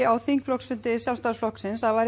á þingflokksfundi Sjálfstæðismanna